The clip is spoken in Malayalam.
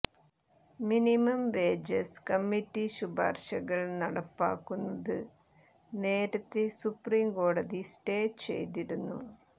മിനിമം വേജസ് കമ്മിറ്റി ശുപാർശകൾ നടപ്പിലാക്കുന്നത് നേരത്തേ സുപ്രീം കോടതി സ്റ്റേ ചെയ്തിരുന്നു